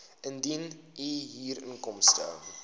indien u huurinkomste